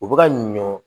U bɛ ka ɲɔ